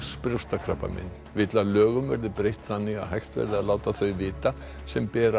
brjóstakrabbamein vill að lögum verði breytt þannig að hægt verði að láta þau sem bera